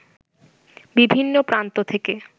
বিভিন্ন প্রান্ত থেকে